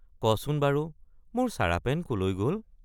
কচোন বাৰু মোৰ চাৰাপেন কলৈ গল?